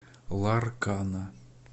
ларкана